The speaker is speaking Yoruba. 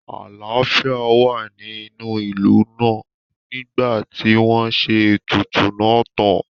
àlàáfíà wà ní inú ìlú náà nígbà tí wọ́n ṣe ètùtù náà tán